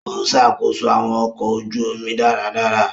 O ṣakoso awọn ọkọ ojú omi dáradára.